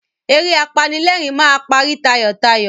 Eré apanílẹ̀rìn máa parí tayọ̀tayọ̀.